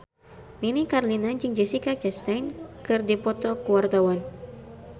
Nini Carlina jeung Jessica Chastain keur dipoto ku wartawan